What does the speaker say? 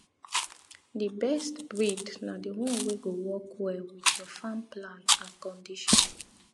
the best breed na the one wey go work well with your farm plan and condition